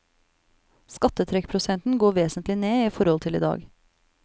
Skattetrekkprosenten går vesentlig ned i forhold til i dag.